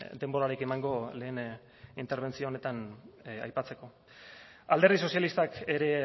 denborarik emango lehen interbentzio honetan aipatzeko alderdi sozialistak ere